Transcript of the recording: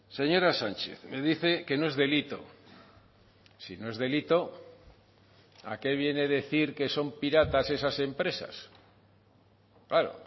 señora sánchez me dice que no es delito si no es delito a qué viene decir que son piratas esas empresas claro